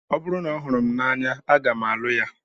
Ọ bụrụ na ọ hụrụ m n'anya, aga m alụ ya